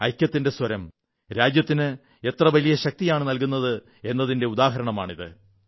ഐക്യത്തിന്റെ സ്വരം രാജ്യത്തിന് എത്ര വലിയ ശക്തിയാണു നല്കുന്നതെന്നതിന്റെ ഉദാഹരണമാണിത്